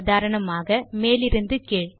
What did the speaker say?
உதாரணமாக மேலிருந்து கீழ்